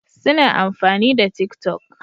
Suna amfani da tik toc